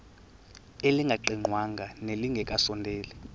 elingaqingqwanga nelinge kasondeli